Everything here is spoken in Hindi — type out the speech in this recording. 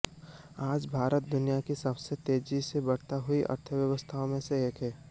आज भारत दुनिया की सबसे तेजी से बढ़ती हुई अर्थव्यवस्थाओं में से एक है